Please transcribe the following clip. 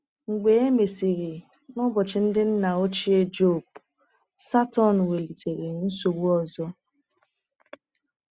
Mgbe e mesịrị, n’ụbọchị ndị nna ochie Jọb, Satọn welitere nsogbu ọzọ.